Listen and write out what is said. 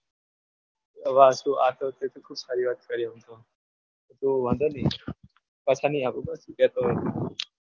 આ તો તે ખૂબ સારી વાત કરી હમણાં તો વાંધો નહીં પાછા નહીં આપુ બસ